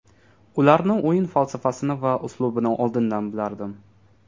Ularni o‘yin falsafasini va uslubini oldindan bilardim.